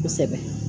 Kosɛbɛ